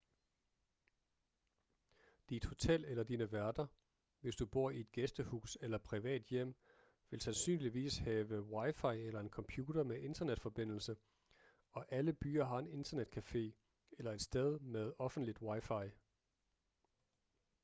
dit hotel eller dine værter hvis du bor i et gæstehus eller privat hjem vil sandsynligvis have wi-fi eller en computer med internetforbindelse og alle byer har en internetcafé eller et sted med offentligt wi-fi